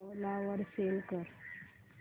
ओला वर सेल कर